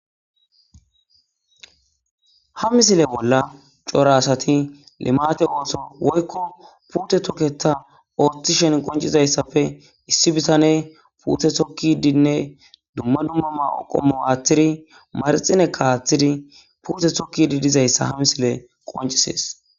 ha misile bolla cora asati limate ooso woykko puute toketa ooththi shen qoncizayssafe issi bisane puuthe sokkidinne dumma dumma maqommo waathtiri marxine kaathidi puute sokkidi dizayssa ha misile qoncisees